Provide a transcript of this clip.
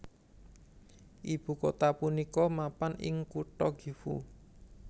Ibu kota punika mapan ing kutha Gifu